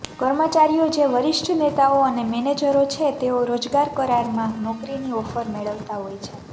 કર્મચારીઓ જે વરિષ્ઠ નેતાઓ અને મેનેજરો છે તેઓ રોજગાર કરારમાં નોકરીની ઓફર મેળવતા હોય છે